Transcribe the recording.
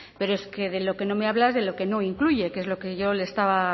pero de lo que no me habla es de lo que no incluye que es lo que yo le estaba